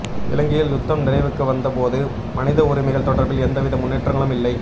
இலங்கையின் யுத்தம் நிறைவுக்கு வந்த போதும் மனித உரிமைகள் தொடர்பில் எந்தவித முன்னேற்றங்களும் இல்லை